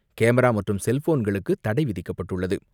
Camera மற்றும் செல்போன்களுக்கு தடை விதிக்கப்பட்டுள்ளது.